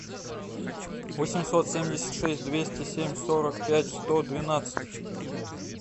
восемьсот семьдесят шесть двести семь сорок пять сто двенадцать